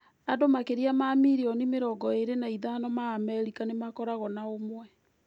Andũ makĩria ma mirioni mĩrongo ĩrĩ na ithano ma Amerika nĩ makoragũo na ũmwe.